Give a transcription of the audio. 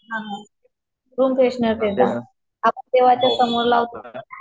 ह रूमफ्रेअशनर सारखी आपण समोर